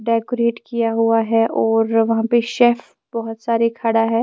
Decorate किया हुआ है और वहां पे शेफ बहोत सारे खड़ा है।